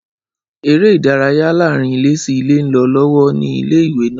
Ẹré ìdárayá láàárín ilé sí ilé ń lọ lọ́wọ́ ni ilé ìwé náà